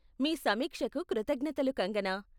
మీ సమీక్షకు కృతజ్ఞతలు కాంగ్కనా.